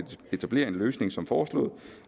etablere en løsning som foreslået